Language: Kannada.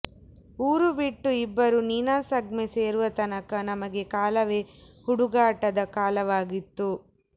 ಊರು ಬಿಟ್ಟು ಇಬ್ಬರೂ ನೀನಾಸಮ್ಗೆ ಸೇರುವ ತನಕ ನಮಗೆ ಕಾಲವೇ ಹುಡುಗಾಟದ ಕಾಲವಾಗಿತ್ತು